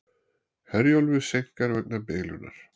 Herjólfi seinkar vegna bilunar